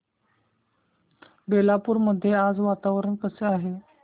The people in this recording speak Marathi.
बेलापुर मध्ये आज वातावरण कसे आहे